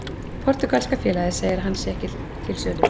Portúgalska félagið segir að hann sé ekki til sölu.